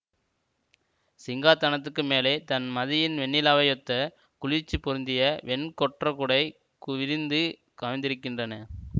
சிங்காதானத்துக்கு மேலே தண் மதியின் வெண்ணிலாவையொத்த குளிர்ச்சி பொருந்திய வெண் கொற்றக்குடை விரிந்து கவிந்திருக்கின்றன